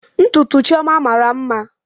Ntutu Chioma mara mma